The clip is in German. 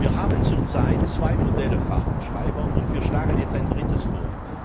Wir haben zurzeit zwei Modelle Fahrtenschreiber und schlagen jetzt ein drittes